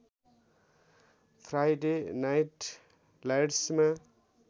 Friday night लाइट्समा